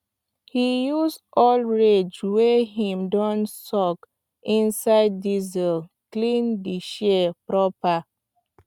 he use old rag wey him don soak inside diesel clean di shears proper